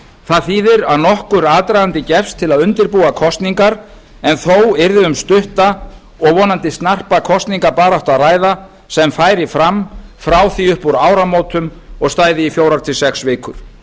það þýðir að nokkur aðdragandi gefst til að undirbúa kosningar en þó yrði um stutta og vonandi snarpa kosningabaráttu að ræða sem færi fram frá því upp úr áramótum og stæði í fjögur til sex vikur